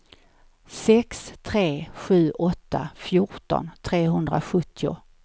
sex tre sju åtta fjorton trehundrasjuttio